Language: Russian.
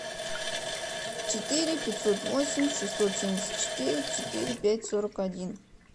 четыре пятьсот восемь шестьсот семьдесят четыре четыре пять сорок один